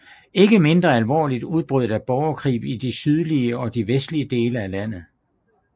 Ikke mindre alvorligt udbrød der borgerkrig i de sydlige og de vestlige dele af landet